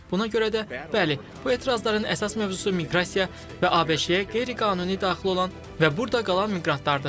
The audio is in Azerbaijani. Buna görə də, bəli, bu etirazların əsas mövzusu miqrasiya və ABŞ-ə qeyri-qanuni daxil olan və burda qalan miqrantlardır.